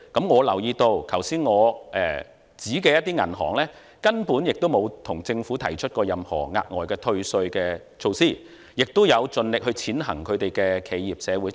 我留意到上述銀行根本沒有向政府要求任何額外退稅的措施，亦有盡力踐行企業社會責任。